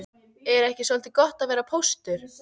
Er ekki soldið gott að vera póstur?